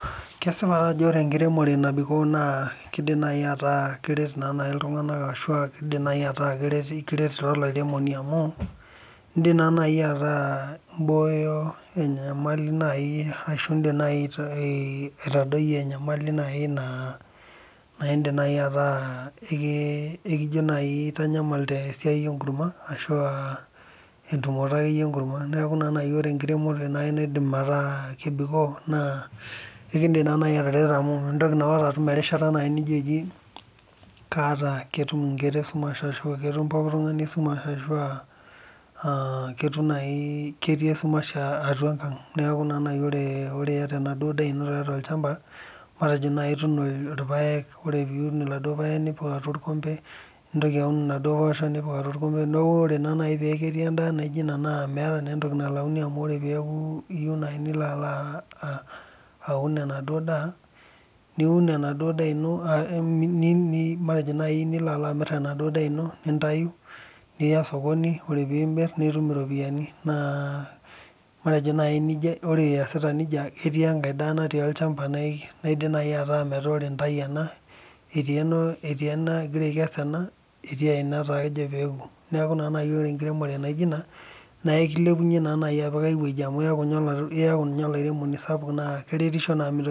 Kesipa taa ajo ore enkiremore nabikok. naa kidim naaji ataa keret naa naa naji iltunganak ashu aa keret naa olairemoni amu. ieim naa naji atas Ibooyo enyamali ashu idim aitadoi enyamali naai naa idim naaji ataa. ekijo naaji aitanyamal te siai enkurma ashu aa entumoto akeyie enkurma. neeku naa ore tenkiremore naai naidim ataa kebikoo naa ekeidim atarero amu ketum erishata nidim atejo eji, kaata ,ketum nkera esumash ashu ketum pookin. ketum pooki tungani esumash .ketii esumash atua enkang. neeku ore naaji ata enaduoo ino tiatua olchampa. naa itum ilpaekk. ore pee itum iladuoo paek, nipik atua orkompe. niun impoosho nipik atua orkompe. neeku ore peeku ketii edaa naijo Ina neeku meeta naa naji entoki nalauni amu ore peeku iyieu naaji nilo aun enaduoo daa. niun enaduoo. matejo naaji nilo amir enaduo daa ino nintayu. nias ore pee imir iropiyiani. naa. matejo naa naji ore iasita nejia ketii enkae daa natii olchampa naidim naaji. ataa metaa ore intayu ena. etii ena egira aikesu ena. etii ae natejo pee ibunga. neeku Ina pee ore enkiremore naijo Ina naa ekuelpunye apik ai wueji